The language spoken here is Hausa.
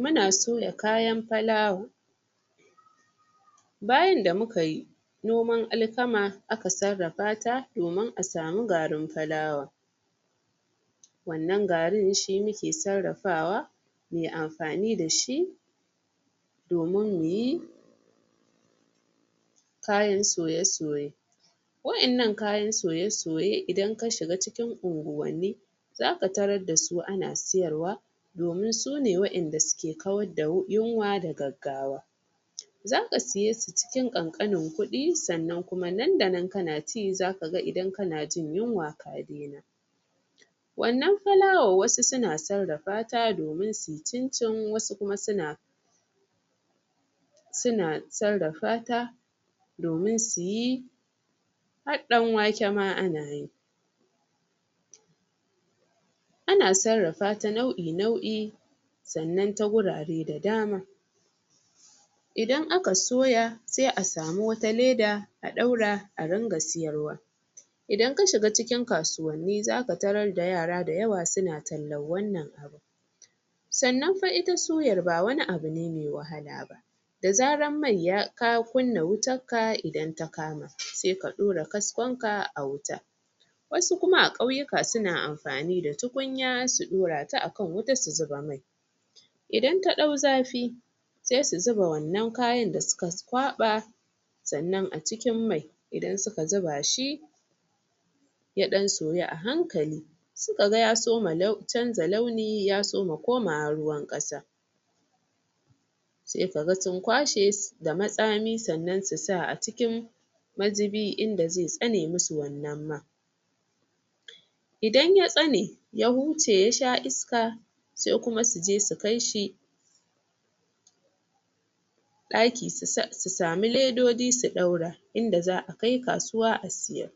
muna soya kayan fulawa bayan da mukayi noman alkama aka sarrafa ta domin a samu garin fulawa wannan garin shi muke sarrafawa muyi amfani dashi domin muyi kayan soye soye wa'ennan kayan soye soye idan ka shiga cikin unguwanni zaka tarar dasu ana siyarwa domin sune wae'nda suke kawar da yunwa da gaggawa zaka siye su cikin kankanin kudi sannan nan da nan kana ci zaka idan kana jin yunwa ka dena wannan fulawan wasu suna sarrafata domin su cincin wasu kuma suna suna sarrafata domin suyi har dan wake ma anayi ana sarrafata nau'i nau'i sannan ta wurare da dama idan aka soya sai a samu wata leda a daura a ringa siyarwa idan ka shiga cikin kasuwanni za ka tarar da yara da yawa suna tallan wannan abu sannnan itafa suyar ba wani abu ne me wahala ba da zarar mai ya ka kunna wutanka idan ta kama sai ka dora kaskonka a wuta wasu kuma a kauyyika suna amfani da tukunya su dorata a kan wuta su zuba mai idan ta dau zafi sai su zuba wannan kayan da suka kwaba sannan a cikin mai idan suka zuba shi ya dan soyu a hankali suka ya soma chanza launi ya soma komawa ruwan kasa sai kaga sun kwashe da matsami sannnan su sa a cikin mazubi inda zai tsane masu wannan man idan ya tsane ya huce ya sha iska sai kuma suje su kaishi daki su samu ledoji su daura inda zaa kai kasuwa a siyar